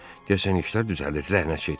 Deyəsən işlər düzəlir, ləhnət şeytana.